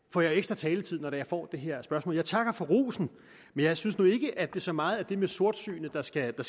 får jeg ekstra taletid når jeg får det her spørgsmål jeg takker for rosen men jeg synes nu ikke at det så meget er det med sortsynet der skal